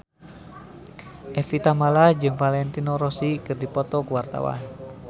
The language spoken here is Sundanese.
Evie Tamala jeung Valentino Rossi keur dipoto ku wartawan